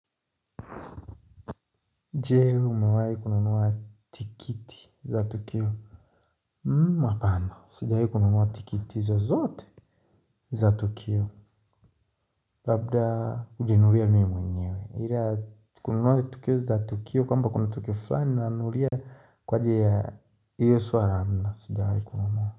Je, wewe umewahi kununua tikiti za Tukio? Hapana, sijawahi kununua tikiti zozote za Tukio Labda kujinunulia mimi mwenyewe. Ile ya kununua tikiti za Tukio kwamba kuna Tukio fulani nanunulia kwa ajili ya hiyo suala, no, sijawahi kununua.